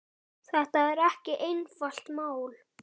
Þetta er ekki einfalt mál.